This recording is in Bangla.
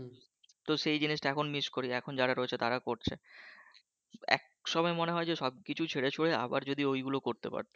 তো সেই জিনিসটা এখন miss এখন যারা রয়েছে তারা করছে এক সময় মনে হয় যে সব কিছু ছেড়ে ছুড়ে আবার যদি ওইগুলো করতে পারতাম